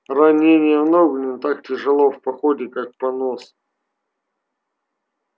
ранение в ногу не так тяжело в походе как понос